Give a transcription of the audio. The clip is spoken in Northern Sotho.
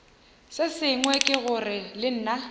sengwe ke gore le nna